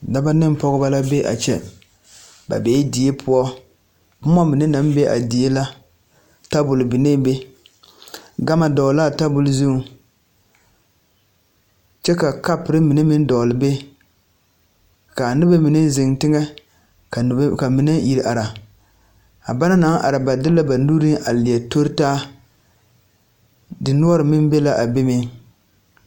Daba neŋ pɔɔbɔ la be a kyɛ ba bee die poɔ bomma mine naŋ be a die la tabol binee be gama dɔɔle laa tabol zu kyɛ ka kapurre mine meŋ dɔɔle be kaa nobɔ mine zeŋ teŋɛ ka mine ire are a ba naŋ are ba de la ba nuree a leɛ toritaa dinoɔre meŋ be la a be meŋ.